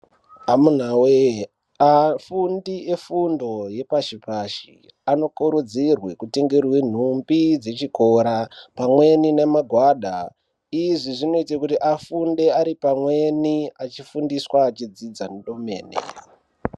Amunawee afundi efundo yepashi pashi anokurudzirwe kutengerwe nhumbi dzechikora pamweni nemagwada izvi zvinoita kuti afunde ari pamweni achifundiswa eidzidza ndomene.